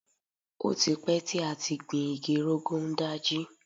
Ó ti pẹ́ tí a ti gbin igi Rogon Daji.